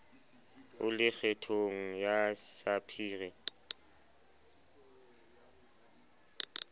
o le kgethong ya sapphire